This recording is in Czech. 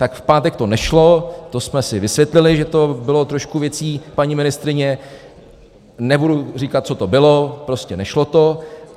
Tak v pátek to nešlo, to jsme si vysvětlili, že to bylo trošku věcí paní ministryně, nebudu říkat, co to bylo, prostě nešlo to.